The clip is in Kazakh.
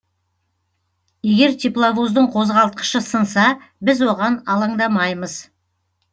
егер тепловоздың қозғалтқышы сынса біз оған алаңдамаймыз